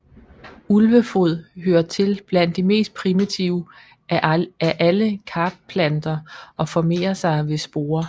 Ulvefod hører til blandt de mest primitive af alle Karplanter og formerer sig ved sporer